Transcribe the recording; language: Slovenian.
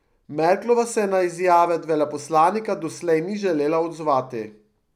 Merklova se na izjave veleposlanika doslej ni želela odzvati.